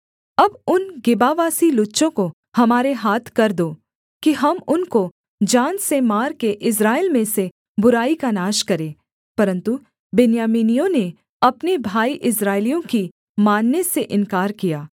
अब उन गिबावासी लुच्चों को हमारे हाथ कर दो कि हम उनको जान से मार के इस्राएल में से बुराई का नाश करें परन्तु बिन्यामीनियों ने अपने भाई इस्राएलियों की मानने से इन्कार किया